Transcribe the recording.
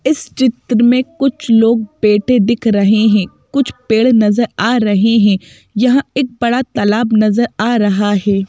इस चित्र में कुछ लोग बैठे दिख रहे हैं कुछ पेड़ नजर आ रहे हैं यहाँ एक बड़ा तालाब नजर आ रहा है।